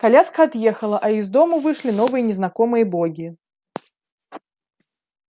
коляска отъехала а из дому вышли новые незнакомые боги